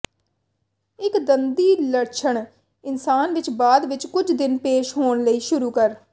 ਟਿੱਕ ਦੰਦੀ ਲੱਛਣ ਇਨਸਾਨ ਵਿਚ ਬਾਅਦ ਵਿਚ ਕੁਝ ਦਿਨ ਪੇਸ਼ ਹੋਣ ਲਈ ਸ਼ੁਰੂ ਕਰ